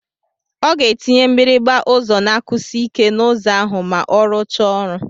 Ọ ga-etinye mgbịrịgba ụzọ na-akụsi ike n'ụzọ ahụ ma ọ rụchaa ọrụ.